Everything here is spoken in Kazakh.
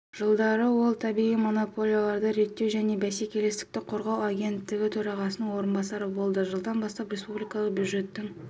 жылдары ол табиғи монополияларды реттеу және бәсекелестікті қорғау агенттігі төрағасының орынбасары болды жылдан бастап республикалық бюджеттің